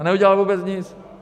A neudělal vůbec nic.